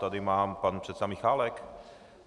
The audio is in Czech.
tady má pan předseda Michálek?